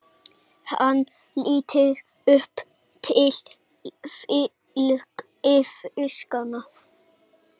Hann lítur upp til fylgifiskanna.